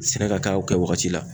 Sɛnɛ ka kɛ a kɛ wagati la.